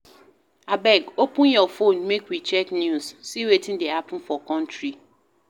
Abeg open your fone make we check news, see wetin dey happen for country